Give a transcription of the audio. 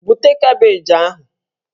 Bute kabeeji ahụ!